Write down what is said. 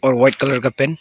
और white colour का pant.